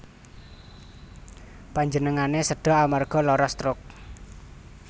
Panjenengane seda amarga lara stroke